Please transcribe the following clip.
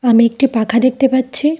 আমি একটি পাখা দেখতে পাচ্ছি।